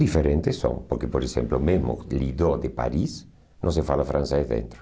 Diferentes são, porque, por exemplo, mesmo o Lido de Paris não se fala francês dentro.